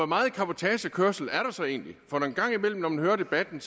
meget cabotagekørsel er der så egentlig en gang imellem når man hører debatten